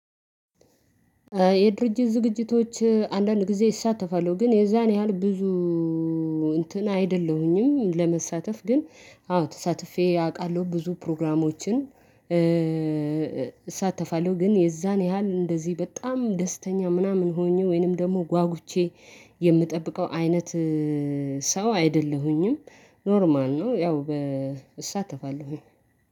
የድርጅት ዝግጅቶች አንዳንድ ጊዜ እሳተፋለው ግን የዛን ያህል ብዙ እንትን አይደለሁኝም። ለመሳተፍ ግን አዎ ተሳትፌ አውቃለሁ። ብዙ ፕሮግራሞችን እሳተፋለሁ ግን የዛን ያህል እንደዚህ በጣም ደስተኛ ምናምን ሆኜ ወይንም ደግሞ ጓጉቼ የምጠብቀው አይነት ሰው አይደለሁኝም። ኖርማል ነው ያው እሳተፋለሁኝ።